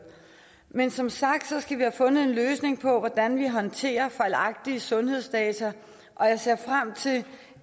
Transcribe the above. men som sagt skal vi have fundet en løsning på hvordan vi håndterer fejlagtige sundhedsdata og jeg ser frem til